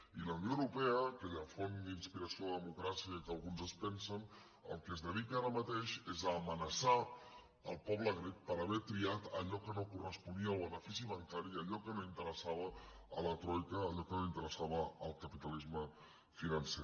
i la unió europea aquella font d’inspiració de democràcia que alguns es pensen al que es dedica ara mateix és a amenaçar el poble grec per haver triat allò que no corresponia al benefici bancari i allò que no interessava a la troica allò que no interessava al capitalisme financer